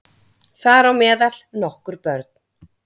Þar á meðal nokkur börn